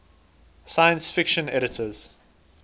science fiction editors